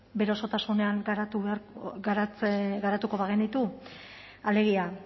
bere osotasunean garatuko bagenitu alegia